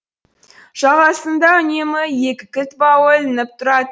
жағасында үнемі екі кілт бауы ілініп тұрады